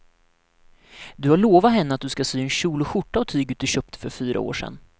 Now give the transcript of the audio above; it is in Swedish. Du har lovat henne att du ska sy en kjol och skjorta av tyget du köpte för fyra år sedan.